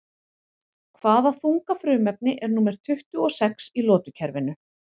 Hvaða þunga frumefni er númer tuttugu og sex í lotukerfinu?